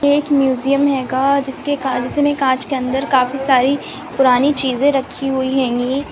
एक म्यूजियम हेगा जिसके कांच के अंदर काफी सारी पुरानी चींज़े रखी हुई हेंगी।